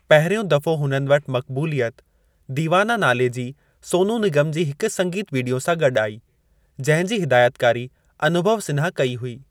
पहिरियों दफ़ो हुननि वटि मक़बूलियत दीवाना नाले जी सोनू निगम जी हिकु संगीत वीडियो सां गॾु आई, जंहिं जी हिदायतकारी अनुभव सिन्हा कई हुई।